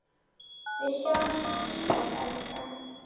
Við sjáumst síðar, elskan.